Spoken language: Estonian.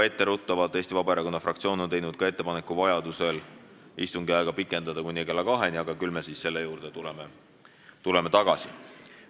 Etteruttavalt ütlen, et Eesti Vabaerakonna fraktsioon on teinud ettepaneku vajaduse korral istungi aega pikendada kuni kella 14-ni, aga küll me tuleme selle juurde tagasi.